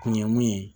Kun ye mun ye